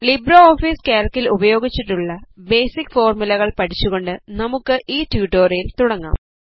Libre Office കാൽക്കിൽ ഉപയോഗിച്ചിട്ടുള്ള basic ഫോർമുലകൾ പഠിച്ചുകൊണ്ട് നമുക്ക് ഈ ട്യൂട്ടോറിയൽ തുടങ്ങാം